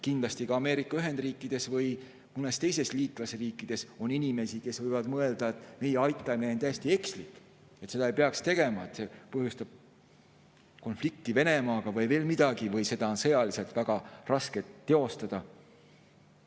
Kindlasti on ka Ameerika Ühendriikides või mõnes teises liitlasriigis inimesi, kes võivad mõelda, et meie aitamine on täiesti ekslik, et seda ei peaks tegema, et see põhjustab konflikti Venemaaga või veel midagi või et seda on sõjaliselt väga raske teostada.